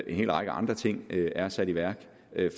en hel række andre ting er sat i værk